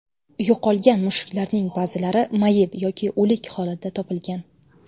Yo‘qolgan mushuklarning ba’zilari mayib yoki o‘lik holda topilgan.